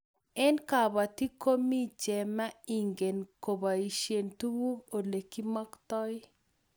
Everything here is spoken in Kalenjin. Eng'kabatik komi chema ingen kobaishe tuguk ole kimaktoi